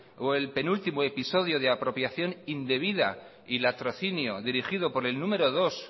o el penúltimo episodio de apropiación indebida y latrocinio dirigido por el número dos